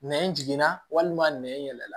Nɛn jiginna walima nɛn yɛlɛ la